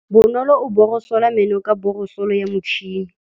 Bonolô o borosola meno ka borosolo ya motšhine.